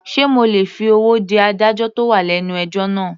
Sé mo lè fi owó dí adájọ́ tó wà lẹ́nu ẹjọ́ náà.